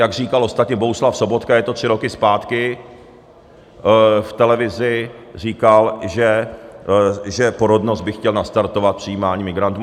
Jak říkal ostatně Bohuslav Sobotka, je to tři roky zpátky, v televizi říkal, že porodnost by chtěl nastartovat přijímáním migrantů.